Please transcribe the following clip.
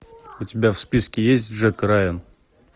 у тебя в списке есть джек райан